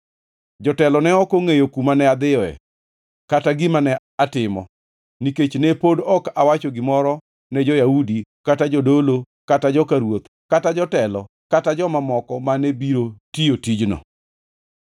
Jotelo ne ok ongʼeyo kuma ne adhiyoe, kata gima ne atimo, nikech ne pod ok awacho gimoro ne jo-Yahudi kata jodolo kata joka ruoth kata jotelo kata joma moko mane biro tiyo tijno.